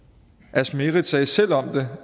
asmeret sagde selv om det